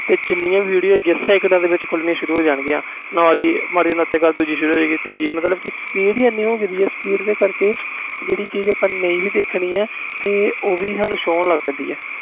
ਜਿੰਨੀਆਂ video ਹੈ ਗਈਆਂ ਇਕ ਦਮ ਖੋਲ੍ਹਣੀਆਂ ਸ਼ੁਰੂ ਹੋ ਜਨ ਗਈਆਂ ਨਾਲ ਹੀ ਮਾਰਾ ਜਾ ਉਤੇ ਕਰ ਦੂਜੀ ਤੀਜੀ ਮਤਬਲ ਕਿ speed ਹੀ ਇੰਨੀ ਹੋ ਗਈ ਇਸ ਕਰਕੇ ਜਿਹੜੀ ਚੀਜ਼ ਨਹੀਂ ਦੇਖਣੀ ਉਹ ਵੀ show ਹੋਣ ਲੱਗ ਗਈ ਆ